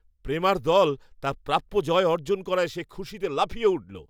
প্রেমার দল তার প্রাপ্য জয় অর্জন করায় সে খুশিতে লাফিয়ে উঠল।